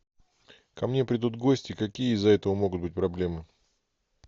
ко мне придут гости какие из за этого могут быть проблемы